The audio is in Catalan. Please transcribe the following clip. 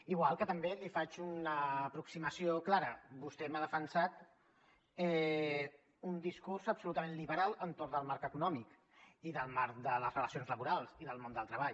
igual que també li faig una aproximació clara vostè m’ha defensat un discurs absolutament liberal entorn del marc econòmic i del marc de les relacions laborals i del món del treball